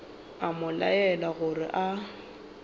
a mo laela gore a